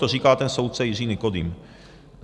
To říká ten soudce Jiří Nikodým.